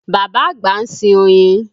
Bàbá àgbà ń sin oyin